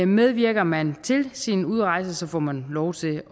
medvirker man til sin udrejse får man lov til